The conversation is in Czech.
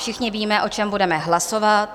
Všichni víme, o čem budeme hlasovat.